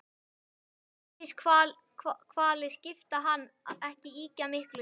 Vítiskvalir skipta hann ekki ýkja miklu.